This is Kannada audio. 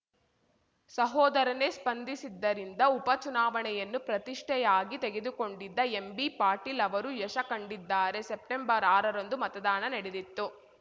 ಸಹೋದರನೇ ಸ್ಪಂದಿಸಿದ್ದರಿಂದ ಉಪ ಚುನಾವಣೆಯನ್ನು ಪ್ರತಿಷ್ಠೆಯಾಗಿ ತೆಗೆದುಕೊಂಡಿದ್ದ ಎಂಬಿಪಾಟೀಲ್‌ ಅವರು ಯಶ ಕಂಡಿದ್ದಾರೆ ಸೆಪ್ಟೆಂಬರ್ಆರರಂದು ಮತದಾನ ನಡೆದಿತ್ತು